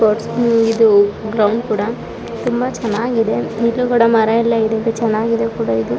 ಇದು ಗ್ರೌಂಡ್ ಕೂಡ ತುಂಬಾ ಚೆನ್ನಾಗಿದೆ ಎದ್ರುಗಡೆ ಮರ ಎಲ್ಲ ಇದೆ ಚನಾಗಿದೆ ಇದು.